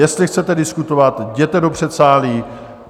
Jestli chcete diskutovat, jděte do předsálí!